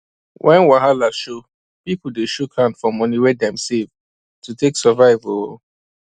when wahala show people dey shook hand for moni wey dem save to take survive um